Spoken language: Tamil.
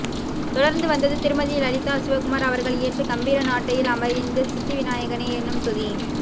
தொடர்ந்துவந்தது திருமதி லலிதா சிவகுமார் அவர்கள் இயற்றிய கம்பீரநாட்டையில் அமைந்த சித்திவிநாயகனே என்னும் துதி